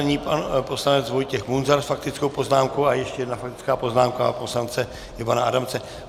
Nyní pan poslanec Vojtěch Munzar s faktickou poznámkou a ještě jedna faktická poznámka poslance Ivana Adamce.